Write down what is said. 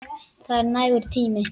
Það er nægur tími.